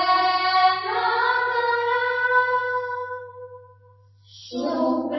सुखदां वरदां मातरम्